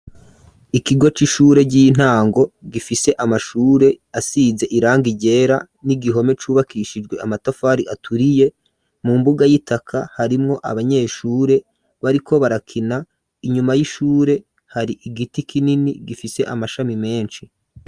Ikigo c'ishure ry'intango gifise amashure asize iranga igera n'igihome cubakishijwe amatafari aturiye mu mbuga y'itaka harimwo abanyeshure bariko barakina inyuma y'ishure hari igiti kinini gifise amashami menshi.